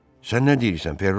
Sən nə deyirsən, Ferro?